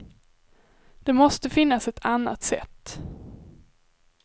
Det måste finnas ett annat sätt.